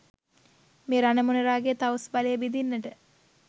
මේ රණ මොණරාගේ තවුස් බලය බිඳින්නට